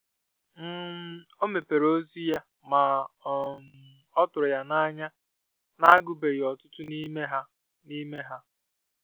um O mepere ozi ya, ma um ọ tụrụ ya n'anya na-agubeghi ọtụtụ n'ime ha n'ime ha.